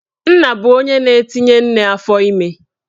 Nna bụ onye na-etinye nne afọime